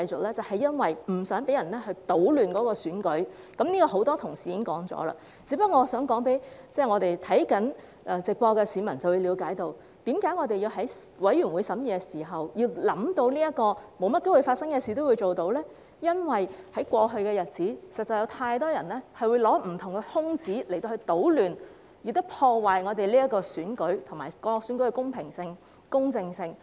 那是因為我們不想被人搗亂選舉，很多同事已指出這一點，我想讓正在收看直播的市民了解，我們在法案委員會審議時，要考慮發生機會不大的情況，是因為在過去的日子裏，實在有太多人利用不同的空子搗亂，破壞各項選舉的公平性和公正性。